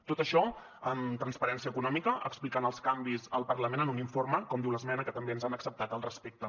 tot això amb transparència econòmica explicant els canvis al parlament en un informe com diu l’esmena que també ens han acceptat al respecte